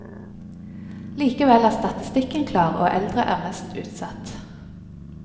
Likevel er statistikken klar, og eldre er mest utsatt.